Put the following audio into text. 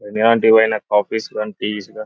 ఎలాంటివైనా coffees గానీ teas గానీ--